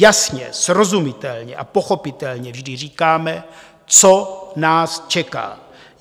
Jasně, srozumitelně a pochopitelně vždy říkáme, co nás čeká.